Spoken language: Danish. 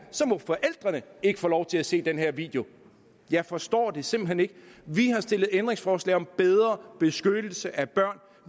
må forældrene ikke få lov til at se den her video jeg forstår det simpelt hen ikke vi har stillet ændringsforslag om bedre beskyttelse af børn